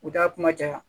U da kuma ja